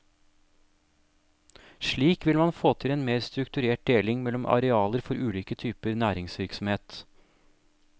Slik vil man få til en mer strukturert deling mellom arealer for ulike typer næringsvirksomhet.